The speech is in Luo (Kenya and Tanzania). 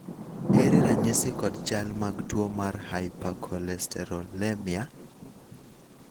ere ranyisi kod chal mag tuo mar hypakolesterolemia ?